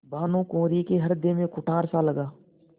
भानुकुँवरि के हृदय में कुठारसा लगा